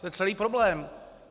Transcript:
To je celý problém.